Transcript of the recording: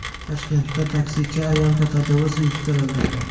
Toshkentda taksichi ayolga tajovuz uyushtirildi.